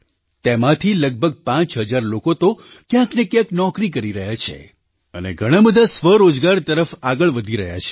તેમાંથી લગભગ પાંચ હજાર લોકો તો ક્યાંક ને ક્યાંક નોકરી કરી રહ્યા છે અને ઘણા બધા સ્વરોજગાર તરફ આગળ વધી રહ્યા છે